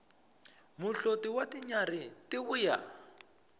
muhloti wa tinyarhi ti vuya